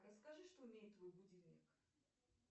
расскажи что умеет твой будильник